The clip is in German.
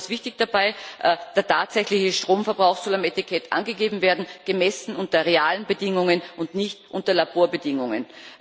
Besonders wichtig dabei Der tatsächliche Stromverbrauch soll auf dem Etikett angegeben werden, gemessen unter realen Bedingungen und nicht unter Laborbedingungen.